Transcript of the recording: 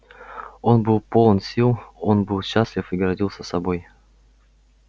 он был полон сил он был счастлив и гордился собой